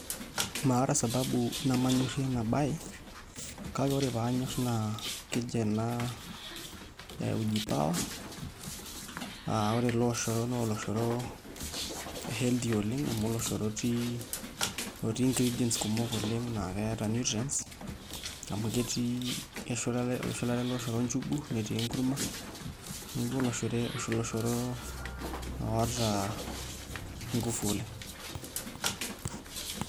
Maata sababu nemanyorrie enabaye kake ore paanyorr keji ena uji power aa ore ele oshoro naa oloshoro healthy oleng' amu oloshoro otii ingredients kumok oleng' naa keeta nutrients amu ketii eshulare ele oshoro njugu netii enkurma neeku oloshoro oota nguvu oleng'.